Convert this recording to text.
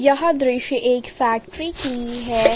यह दृश्य एक फैक्ट्री की है।